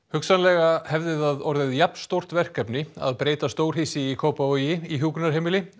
hugsanlega hefði það orðið jafnstórt verkefni að breyta stórhýsi í Kópavogi í hjúkrunarheimili